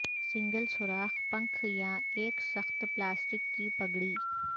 single سوراخ پنکھ یا ایک سخت پلاسٹک کی پگڑی